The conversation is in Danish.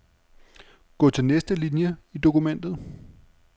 Gå til næste linie i dokumentet.